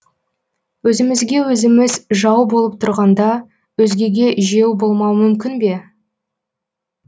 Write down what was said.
өзімізге өзіміз жау болып тұрғанда өзгеге жеу болмау мүмкін бе